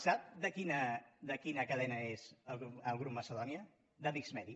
sap de quina cadena és el grup macedònia de discmedi